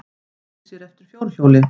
Auglýsir eftir fjórhjóli